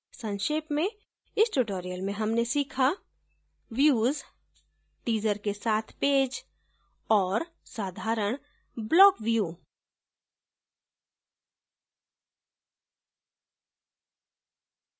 संक्षेप में इस tutorial में हमने सीखा views teaser के साथ पेज और साधारण block view